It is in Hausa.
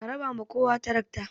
A raba ma kowa tarakta!